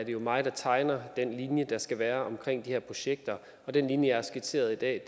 jo mig der tegner den linje der skal være omkring de her projekter og den linje jeg har skitseret i dag